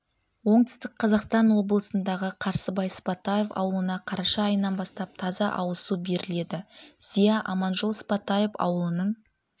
оңтүстік қазақстан облысындағы қарсыбай сыпатаев ауылына қараша айынан бастап таза ауызсу беріледі зия аманжол сыпатаев ауылының